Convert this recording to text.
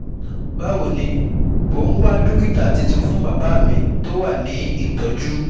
bawo ni mo ń wá dókítà titun fún bàbá mi tó wà ní ìtọ́jú